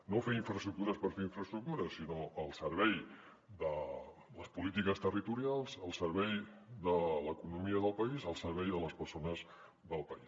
no fer infraestructures per fer infraestructures sinó al servei de les polítiques territorials al servei de l’economia del país al servei de les persones del país